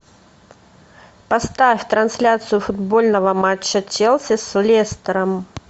поставь трансляцию футбольного матча челси с лестером